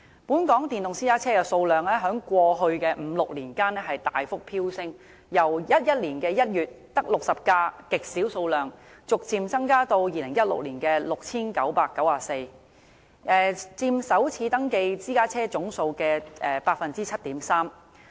本港電動私家車的數量在過去的五六年間大幅飆升，由2011年1月只有極少數量的60輛，逐漸增至2016年的 6,994 輛，佔首次登記私家車總數的 7.3%。